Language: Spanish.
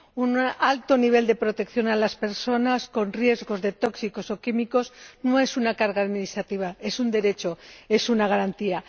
Un alto nivel de protección de las personas con riesgo de exposición a productos tóxicos o químicos no es una carga administrativa, es un derecho, es una garantía.